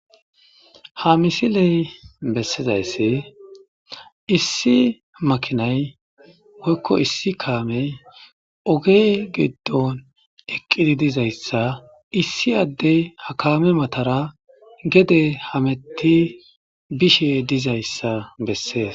ha misiley bessizaysse issi makinay woykko issi kaamey ogey giddon eqqidi dizayssa issi addey ha kaame matara gede hametti bishe dizayssa bessees